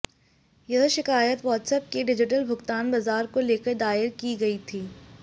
यह शिकायत व्हट्सएप के डिजिटल भुगतान बाजार को लेकर दायर की गई थी